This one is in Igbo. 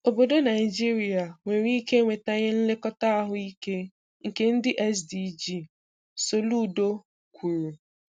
"Obodo Naijiria nwere ike enwetaghị nlekọta ahụ ike nke ndị SDG", Soludo kwuru.